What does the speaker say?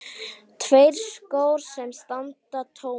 Tveir skór sem standa tómir.